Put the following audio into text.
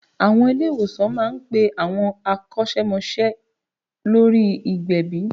Àwọn ilé ìwòsàn má ń pe àwọn akọ́sẹ́mọsẹ́ lórí ìgbẹ̀bì